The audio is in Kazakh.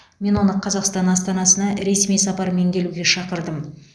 мен оны қазақстан астанасына ресми сапармен келуге шақырдым